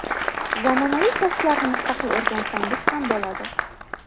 zamonaviy kasblarni mustaqil o‘rgansangiz ham bo‘ladi.